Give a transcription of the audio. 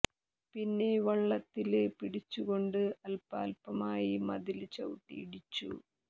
പിന്നെ വള്ളത്തില് പിടിച്ചു കൊണ്ട് അല്പാല്പമായി മതില് ചവിട്ടി ഇടിച്ചു